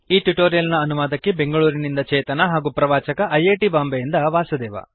ಈ ಟ್ಯುಟೋರಿಯಲ್ ನ ಅನುವಾದಕಿ ಬೆಂಗಳೂರಿನಿಂದ ಚೇತನಾ ಹಾಗೂ ಪ್ರವಾಚಕ ಐ ಐ ಟಿ ಬಾಂಬೆಯಿಂದ ವಾಸುದೇವ